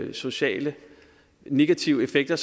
de sociale negative effekter